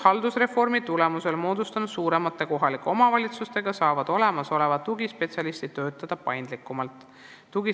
Haldusreformi tulemusel moodustunud suuremates kohalikes omavalitsustes saavad tugispetsialistid töötada paindlikumalt.